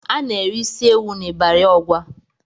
Ana-ere isi ewù n'Ịbari Ọgwa.